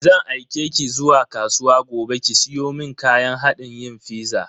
Zan aike ki zuwa kasuwa gobe ki siyo mun kayan hadin yin fiza.